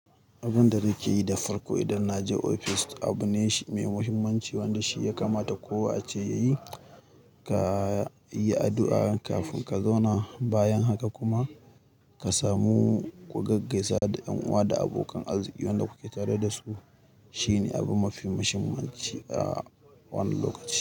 Abun da nake yi da farko idan na je ofis abu ne mai muhimmanci wanda shi ya kamata kowa a ce yayi, ka yi addu'a kafin ka zauna bayan haka kuma ka samu gaigaisa da ƴan uwa da abokan arziki wanda kuke tare da su. Shine abu mafi muhimmanci a wannan lokaci.